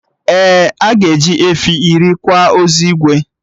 Ee, aga eji efi iri kwa ozu Igwe